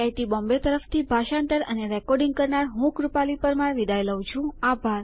IIT Bombay તરફથી ભાષાંતર અને રેકોર્ડીંગ કરનાર હું કૃપાલી પરમાર વિદાય લઉં છું